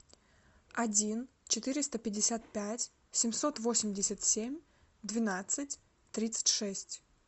один четыреста пятьдесят пять семьсот восемьдесят семь двенадцать тридцать шесть